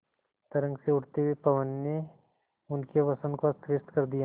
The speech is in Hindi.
तरंग से उठते हुए पवन ने उनके वसन को अस्तव्यस्त कर दिया